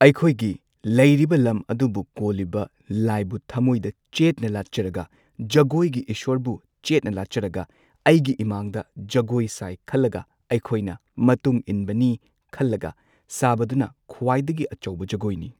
ꯑꯩꯈꯣꯏꯒꯤ ꯂꯩꯔꯤꯕ ꯂꯝ ꯑꯗꯨꯕꯨ ꯀꯣꯜꯂꯤꯕ ꯂꯥꯏꯕꯨ ꯊꯝꯃꯣꯏꯗ ꯆꯦꯠꯅ ꯂꯥꯠꯆꯔꯒ ꯖꯒꯣꯏꯒꯤ ꯏꯁꯣꯔꯕꯨ ꯆꯦꯠꯅ ꯂꯥꯠꯆꯔꯒ ꯑꯩꯒꯤ ꯏꯃꯥꯡꯗ ꯖꯒꯣꯏ ꯁꯥꯏ ꯈꯜꯂꯒ ꯑꯩꯈꯣꯏꯅ ꯃꯇꯨꯡ ꯏꯟꯕꯅꯤ ꯈꯜꯂꯒ ꯁꯥꯕꯗꯨꯅ ꯈ꯭ꯋꯥꯏꯗꯒꯤ ꯑꯆꯧꯕ ꯖꯒꯣꯏꯅꯤ꯫